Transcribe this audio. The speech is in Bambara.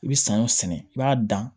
I bɛ saɲɔ sɛnɛ i b'a dan